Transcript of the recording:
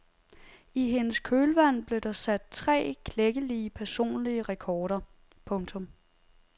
I hendes kølvand blev der sat tre klækkelige personlige rekorder. punktum